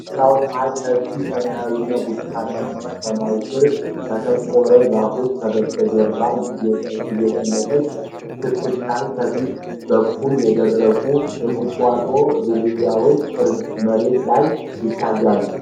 ቢጫው ፀሐይ ሰፊ ሰማያዊና ብርቱካናማ ሰማይ ስር ከጠቆረ ዛፎች በስተጀርባ እየጠለቀች ስትታይ፣ ከፊት በኩል የደረቁ የቁጥቋጦ ዝርያዎች መሬት ላይ ይታያሉ።